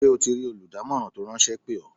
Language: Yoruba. Ṣé o ti rí olùdámọ̀ràn tó ráńṣẹ́ pè ọ́?